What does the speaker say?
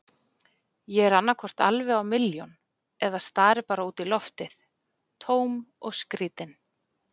Ég er annaðhvort alveg á milljón eða stari bara út í loftið, tóm og skrýtin.